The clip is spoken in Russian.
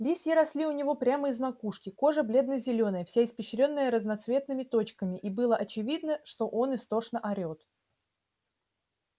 листья росли у него прямо из макушки кожа бледно-зелёная вся испещрённая разноцветными точками и было очевидно что он истошно орет